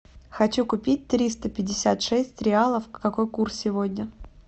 хочу купить триста пятьдесят шесть реалов какой курс сегодня